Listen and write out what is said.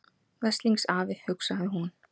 Veslings afi, hugsaði hún.